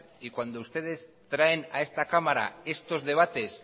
y cuando ustedes traen a esta cámara estos debates